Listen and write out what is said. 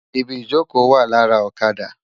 Ibi ijókö wá làrá òkàdá